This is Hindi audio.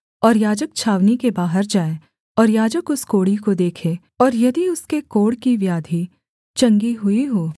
और याजक छावनी के बाहर जाए और याजक उस कोढ़ी को देखे और यदि उसके कोढ़ की व्याधि चंगी हुई हो